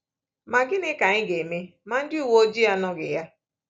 Ma gịnị ka anyị ga-eme ma ndị uwe ojii anọghị ya?